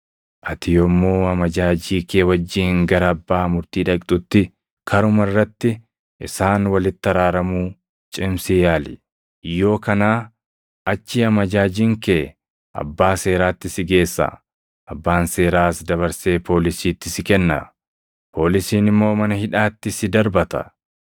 Ati yommuu amajaajii kee wajjin gara abbaa murtii dhaqxutti, karuma irratti isaan walitti araaramuu cimsii yaali; yoo kanaa achii amajaajiin kee abbaa seeraatti si geessa; abbaan seeraas dabarsee poolisiitti si kenna; poolisiin immoo mana hidhaatti si darbata.